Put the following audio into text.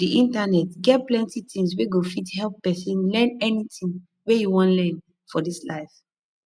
di internet get plenty things wey go fit help pesin learn anything wey e wan learn for dis life